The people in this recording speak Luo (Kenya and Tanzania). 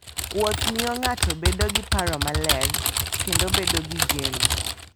Wuoth miyo ng'ato bedo gi paro maler kendo bedo gi geno.